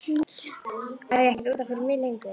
Ég á ekkert út af fyrir mig lengur.